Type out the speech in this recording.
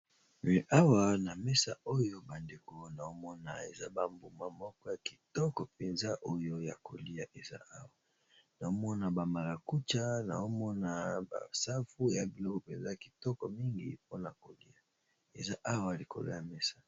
Awa mesa oyo bangeko naomona eza ba mbuma moko ya kitoko penza oyo ya koliya nazomona ba maracuja, safu na biloko penza yakoliya eza Awa likolo ya mesa.